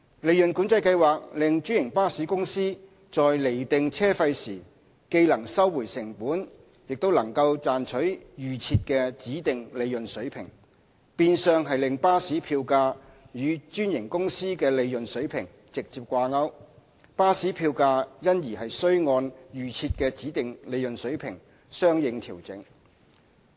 利潤管制計劃令專營巴士公司在釐定車費時既能收回成本，亦能賺取預設的指定利潤水平，變相令巴士票價與專營公司的利潤水平直接掛鈎，巴士票價因而須按預設的指定利潤水平相應調整。